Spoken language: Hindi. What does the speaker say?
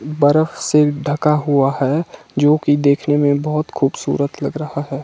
बर्फ से ढका हुआ है जो कि देखने में बहुत खूबसूरत लग रहा है।